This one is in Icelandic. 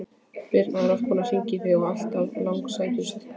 Birna er oft að hringja í þig og alltaf langsætust!